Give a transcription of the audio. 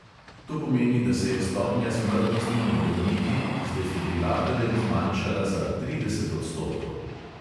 To pomeni, da se je stopnja smrtnosti med bolniki z defibrilatorjem zmanjšala za trideset odstotkov.